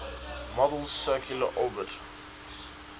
model's circular orbits